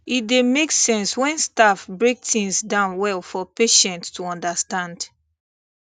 e dey make sense when staff break things down well for patient to understand